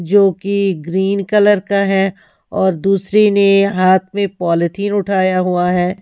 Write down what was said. जोकि green colour का है और दूसरी ने हाथ में पॉलिथीन उठाया हुआ है।